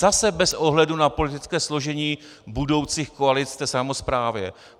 Zase bez ohledu na politické složení budoucích koalic v samosprávě.